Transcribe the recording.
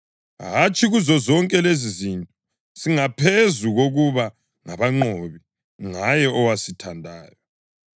Hatshi, kuzozonke lezizinto singaphezu kokuba ngabanqobi ngaye owasithandayo.